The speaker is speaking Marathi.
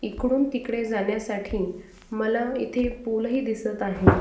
इकडून तिकडे जाण्यासाठी मला इथे पूल ही दिसत आहे.